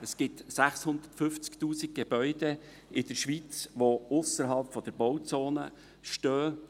Es gibt 650’000 Gebäude in der Schweiz, die ausserhalb der Bauzone stehen.